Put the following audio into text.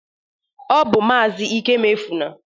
Ọ bụ maazị Ikemefuna.